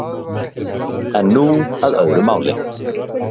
En nú að öðru máli